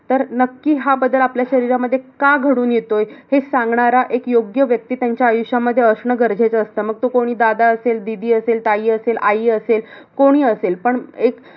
तर नक्कीच हा बदल आपल्या शरीरामध्ये का घडून येतोय, हे सांगणारा एक योग्य व्यक्ती त्यांचा आयुष्यामध्ये असणं गरजेचं असतं. मग तो कोण दादा असेल, दीदी असेल, ताई असेल, आई असेल. कोणीही असेल पण एक